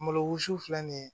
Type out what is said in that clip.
Malo wusu filɛ nin ye